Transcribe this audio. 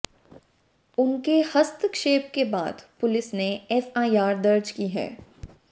उनके हस्तक्षेप के बाद पुलिस ने एफआईआर दर्ज की है